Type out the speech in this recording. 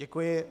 Děkuji.